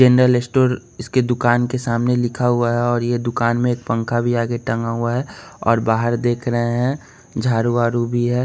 General store इसके दुकान के सामने लिखा हुआ है और यह दुकान में एक पंखा भी आगे टंगा हुआ है और बाहर देख रहे हैं झाड़ू वाडु भी है।